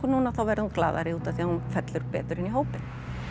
núna þá verður hún glaðari því hún fellur betur inn í hópinn